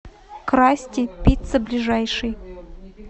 красти пицца ближайший